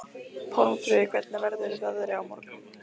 Pálmfríður, hvernig verður veðrið á morgun?